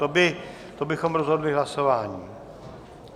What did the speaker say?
To bychom rozhodli hlasováním.